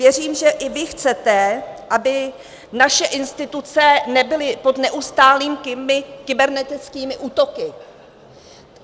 Věřím, že i vy chcete, aby naše instituce nebyly pod neustálými kybernetickými útoky.